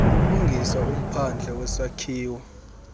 ulungisa umphandle wesakhiwo